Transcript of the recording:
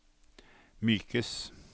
mykes